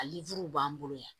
A b'an bolo yan